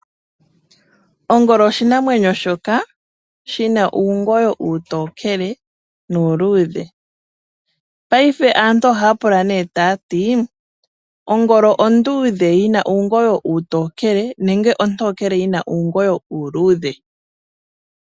Ongolo oshinamwenyo shoka shina uungoyo uutookele nuuluudhe. Paife aantu ohaya pula nee taya ti. Ongolo onduudhe yina uungoyo uutookele nenge ontookele yina uungoyo uuluudhe?